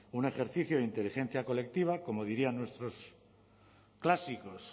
un ejercicio de inteligencia colectiva como dirían nuestros clásicos